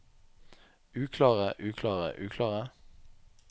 uklare uklare uklare